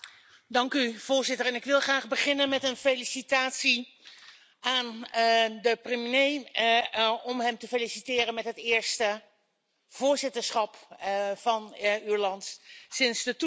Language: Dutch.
Voorzitter, ik wil graag beginnen met een felicitatie aan de premier, om hem te feliciteren met het eerste voorzitterschap van zijn land sinds de toetreding.